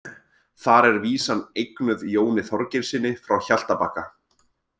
Þar er vísan eignuð Jóni Þorgeirssyni frá Hjaltabakka.